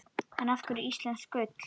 En af hverju íslensk ull?